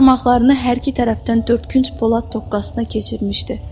Baş barmaqlarını hər iki tərəfdən dördkünc polad toqqasına keçirmişdi.